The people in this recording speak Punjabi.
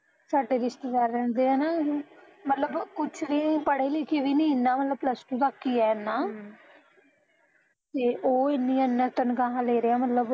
ਸਾਡੇ ਰਿਸ਼ਤੇਦਾਰ ਰਹਿੰਦੇ ਐ ਨਾ ਉਹ, ਮਤਲਬ ਕੁਸ਼ ਵੀ ਉਹ ਪੜੇ ਲਿਖੇ ਵੀ ਨੀ ਏਨਾਂ ਬਸ plus two ਤਕ ਈ ਐ ਏਨਾਂ ਹਮ ਤੇ ਉਹ ਏਨੀ ਏਨੀਆ ਤਨਖਾਹਾਂ ਲੈ ਰਿਹਾ ਮਤਲਬ